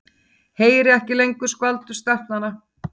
Heyri ekki lengur skvaldur stelpnanna.